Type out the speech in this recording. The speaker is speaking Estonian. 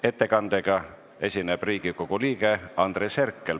Ettekandega esineb Riigikogu liige Andres Herkel.